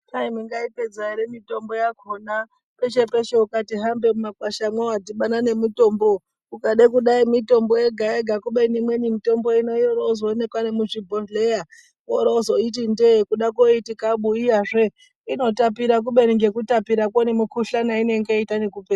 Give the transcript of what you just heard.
Kwai mungaipedza ere mitombo yakona peshe peshe ukati hambe mumakwashamwo wadhibana nemutombo , ukade kudai mitombo yega yega kubeni imwe mitombo yorozoonekwa nemuzvibhodhlera worozoiiti ndege kuda kuiti kabu iyazve inotapira , kubeni ngekutapirakwo nemikhuhlani inenge yeita nekupera.